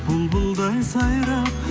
бұлбұлдай сайрап